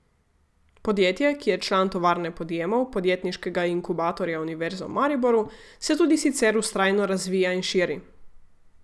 Podjetje, ki je član Tovarne podjemov, podjetniškega inkubatorja Univerze v Mariboru, se tudi sicer vztrajno razvija in širi.